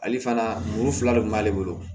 Ale fana muru fila de kun b'ale bolo